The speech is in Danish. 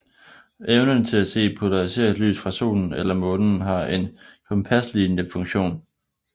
Evnen til at se polariseret lys fra solen eller månen har en kompaslignende funktion